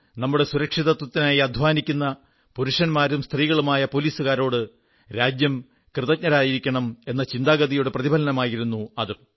നമ്മുടെ സുരക്ഷിതത്വത്തിനായി അനവരതം അധ്വാനിക്കുന്ന പുരുഷന്മാരും സ്ത്രീകളുമായ പോലീസുകാരോട് രാജ്യം കൃതജ്ഞരായിരിക്കണം എന്ന ചിന്താഗതിയുടെ പ്രതിഫലനമായിരുന്നു അതും